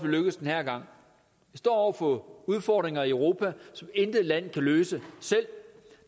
lykkes den her gang vi står over for udfordringer i europa som intet land kan løse selv